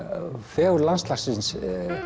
fegurð landslagsins